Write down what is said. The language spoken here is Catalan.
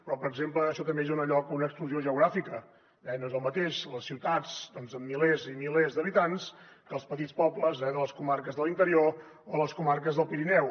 però per exemple això també dona lloc a una exclusió geogràfica eh no són el mateix les ciutats doncs amb milers i milers d’habitants que els petits pobles de les comarques de l’interior o les comarques del pirineu